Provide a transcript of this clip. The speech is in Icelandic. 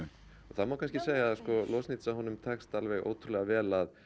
það má kannski segja að takist alveg ótrúlega vel að